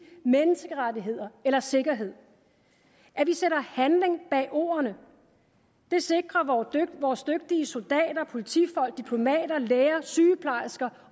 menneskerettigheder eller sikkerhed at vi sætter handling bag ordene det sikrer vores dygtige soldater politifolk diplomater læger sygeplejersker